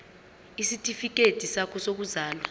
isitifikedi sakho sokuzalwa